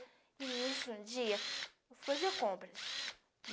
E no início do dia, vou fazer compras.